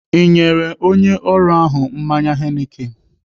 Ị nyere onye ọrụ ahụ mmanya Heineken?